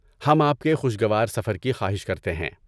ہم آپ کے خوشگوار سفر کی خواہش کرتے ہیں۔